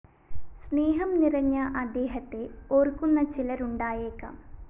സ്‌നേഹം നിറഞ്ഞ അദ്ദേഹത്തെ ഓര്‍ക്കുന്ന ചിലരുണ്ടായേക്കാം